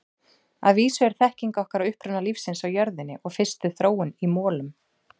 Að vísu er þekking okkar á uppruna lífsins á jörðinni og fyrstu þróun í molum.